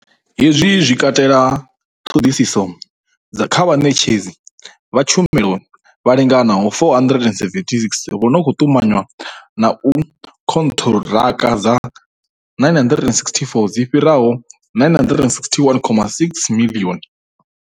Hezwi zwi katela ṱhoḓisiso kha vhaṋetshedzi vha tshumelo vha linganaho 476, vha no khou ṱumanywa na khonṱhiraka dza 964, dzi fhiraho R961.6 miḽioni.